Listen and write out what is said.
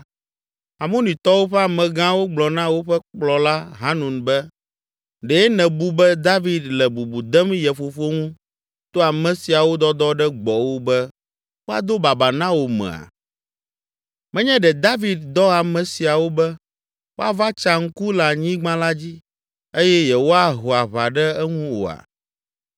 Amonitɔwo ƒe amegãwo gblɔ na woƒe kplɔla Hanun be, “Ɖe nèbu be David le bubu dem ye fofo ŋu to ame siawo dɔdɔ ɖe gbɔwò be woado babaa na wò mea? Menye ɖe David dɔ ame siawo be woava tsa ŋku le anyigba la dzi eye yewoaho aʋa ɖe eŋu oa?”